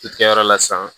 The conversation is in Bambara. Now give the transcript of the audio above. U kɛyɔrɔ la sisan